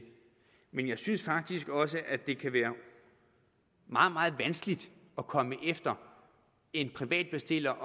men jeg synes faktisk også at det kan være meget meget vanskeligt at komme efter en privat bestiller